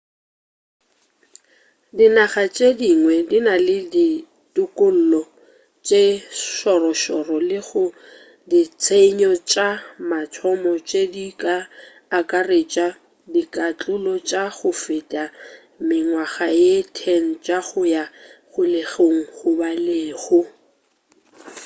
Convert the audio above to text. dinaga tše dingwe di na le dikotlo tše šorošoro le go ditshenyo tša mathomo tše di ka akaretša dikatlolo tša go feta mengwaga ye 10 tša go ya kgolegong goba lehu